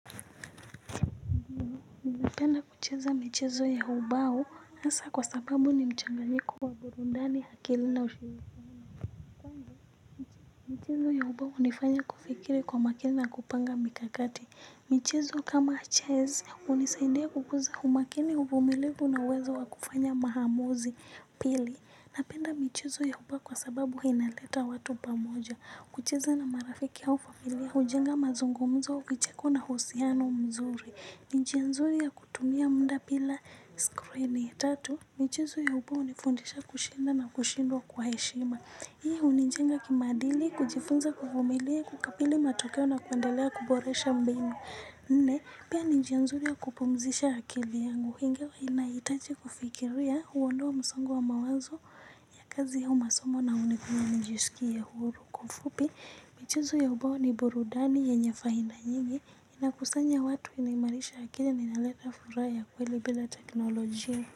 Penda kucheza michezo ya ubao hasa kwa sababu ni mchanganyiko wa burudani akili na ushirikiano kwangu mchezo. Ya ubao hunifanya kufikiri kwa makini na kupanga mikakati. Michezo kama chess hunisaidia kukuza umakini uvumilivu na uwezo wa kufanya maamuzi pili. Napenda michezo ya ubao kwa sababu inaleta watu pamoja. Kucheza na marafiki au familia hujenga mazungumzo vicheko na uhusiano mzuri. Ni njia nzuri ya kutumia muda bila skrini tatu. Michezo ya ubao hunifundisha kushinda na kushindwa kwa heshima. Hii hunijenga kimaadili kujifunza kuvumilia kukabili matokeo na kuendelea kuboresha mbinu. Nne, pia ni njia nzuri ya kupumzisha akili yangu ingawa inahitaji kufikiria huondoa msongo wa mawazo ya kazi au masomo na hunifanya nijisikie huru. Kwa ufupi, michezo ya ubao ni burudani yenye faida nyingi inakusanya watu inaimarisha akili na inaleta furaha ya kweli bila teknolojia.